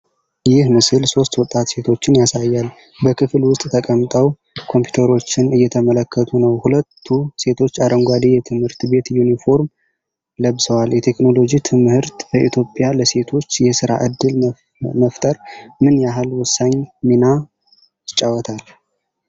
ይህ ምስል ሶስት ወጣት ሴቶችን ያሳያል። በክፍል ውስጥ ተቀምጠው ኮምፒውተሮችን እየተመለከቱ ነው። ሁለቱ ሴቶች አረንጓዴ የትምህርት ቤት ዩኒፎርም ለብሰዋል። የቴክኖሎጂ ትምህርት በኢትዮጵያ ለሴቶች የሥራ ዕድል መፈጠር ምን ያህል ወሳኝ ሚና ይጫወታል?